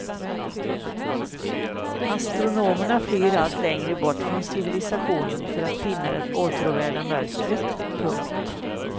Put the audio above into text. Astronomerna flyr allt längre bort från civilisationen för att finna det åtråvärda mörkret. punkt